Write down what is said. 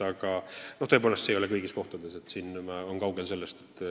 Aga tõepoolest, seda nõu ei saa kõigis kohtades – kaugel sellest.